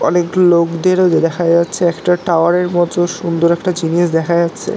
অনেক লোকদের ও দেখা যাচ্ছে একটা টাওয়ার এর মতো সুন্দর একটা জিনিস দেখা যাচ্ছে।